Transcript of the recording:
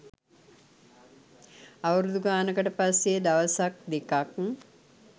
අවුරුදු ගානකට පස්සේ දවසක් දෙකක්